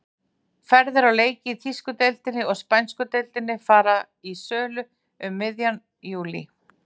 Ferðir á leiki í þýsku deildinni og spænsku deildinni fara í sölu um miðjan júlí.